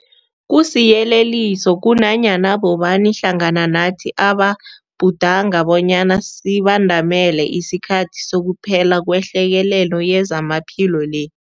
Kusiyeleliso kunanyana bobani hlangana nathi ababhudanga bonyana sibandamele isikhathi sokuphela kwehlekelele yezamaphilo le.